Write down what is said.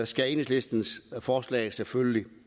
skal enhedslistens forslag selvfølgelig